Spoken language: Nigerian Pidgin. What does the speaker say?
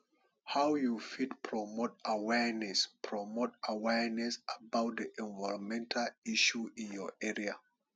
how you fit promote awareness promote awareness about di environmental issue in your area